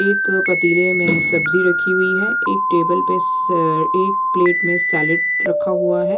एक पतीले में सब्जी रखी हुई हैं एक टेबल पर एक प्लेट में सैलेड रखा हुआ हैं।